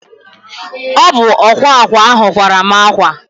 Ọ bụ ọkwa akwa ahụ kwara mụ akwa